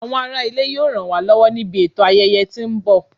Àwọn ará ilé yóò ràn wá lọ́wọ́ níbi ètò ayẹyẹ tó ń bọ̀